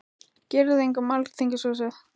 Girðing um Alþingishúsið